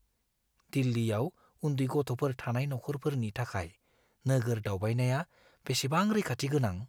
दिल्लीयाव उन्दै गथ'फोर थानाय नखरफोरनि थाखाय नोगोर दावबायनाया बेसेबां रैखाथि गोनां?